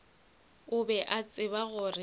o be a tseba gore